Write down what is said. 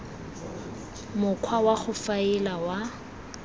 mokgwa wa go faela wa